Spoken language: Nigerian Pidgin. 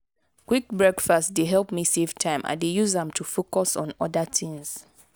quick breakfast dey help me save time i dey use am to focus on other things.